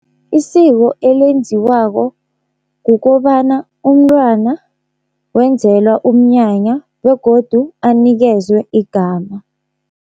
Isiko elenziwako kukobana umntwana wenzelwa umnyanya begodu anikezwe igama.